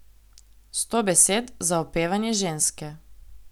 Sto besed za opevanje ženske.